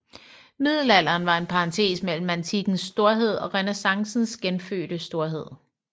Middelalderen var en parentes mellem antikkens storhed og renæssancens genfødte storhed